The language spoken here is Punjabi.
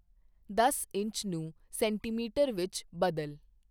ਦਸ ਇੰਚ ਨੂੰ ਸੈਂਟੀਮੀਟਰ ਵਿੱਚ ਬਦਲ